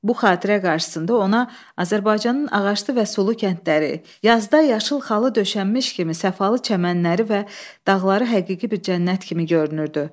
Bu xatirə qarşısında ona Azərbaycanın ağaclı və sulu kəndləri, yazda yaşıl xalı döşənmiş kimi səfalı çəmənləri və dağları həqiqi bir cənnət kimi görünürdü.